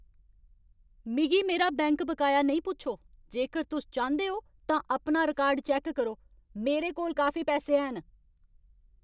मिगी मेरा बैंक बकाया नेईं पुच्छो। जेकर तुस चांह्‌दे ओ तां अपना रिकार्ड चैक्क करो। मेरे कोल काफी पैसे हैन।